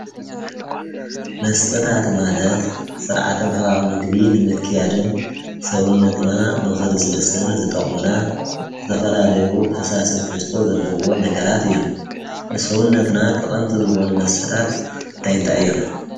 መስተታት ማለት ሠርዓቶም ሕቓቕ ምግቢ ንምክያድን ሠውነትና ምኽድ ሥልስን ዝጠቕሙና ዘተፈላለዩ ፈሳሰት ሕስቶ ዘለዎም ነገራት እዮም ንሠውነትና ጠቐምቲ ዝኾኑ መሰታት እንታይንታይ እዮም?